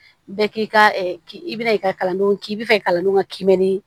Bɛɛ k'i ka ɛ k i bɛn'i ka kalandenw k'i bɛ fɛ ka kalandenw ka kiimɛni